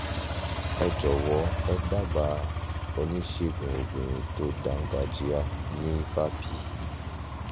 ẹ jọ̀wọ́ ẹ dábàá oníṣègùn obìnrin tó dáńgájíá ní vapi